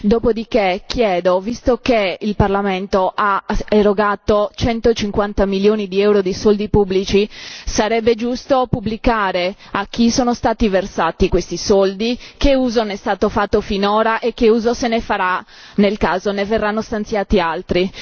dopodiché chiedo, visto che il Parlamento ha erogato centocinquanta milioni di euro di soldi pubblici, che sarebbe giusto pubblicare a chi sono stati versati questi soldi, che uso ne è stato fatto finora e che uso se ne farà nel caso ne verranno stanziati altri.